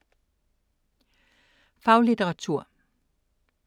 Faglitteratur